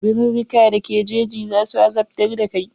Birurruka da ke jeji za su azabtar da kai.